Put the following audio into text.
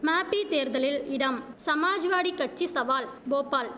மாப்பித் தேர்தலில் இடம் சமாஜ்வாடி கட்சி சவால் போபால்